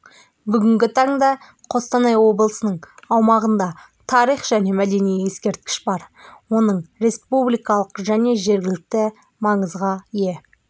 бүгінгі таңда қостанай облысының аумағында тарих және мәдени ескерткіш бар оның республикалық және жергілікті маңызға ие